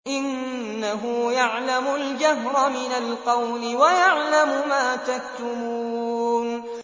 إِنَّهُ يَعْلَمُ الْجَهْرَ مِنَ الْقَوْلِ وَيَعْلَمُ مَا تَكْتُمُونَ